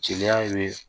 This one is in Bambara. Jeliya ye